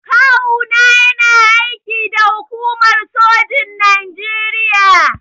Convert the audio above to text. Kawu na yana aiki da hukumar sojin Naijeria.